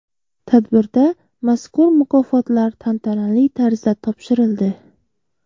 Tadbirda mazkur mukofotlar tantanali tarzda topshirildi.